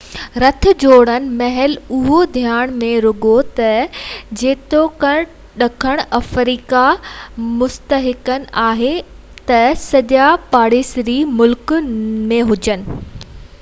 رٿ جوڙڻ مهل اهو ڌيان ۾ رکو تہ جيتوڻڪ ڏکڻ آفريڪا مستحڪم آهي تہ سڄا پاڙيسري ملڪ نہ آهن